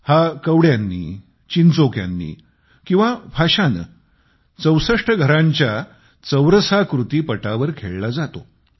हा कवड्यांनी चिंचोक्यांनी किंवा फाश्याने 64 घरांच्या चौरसाकृती पटावर खेळला जातो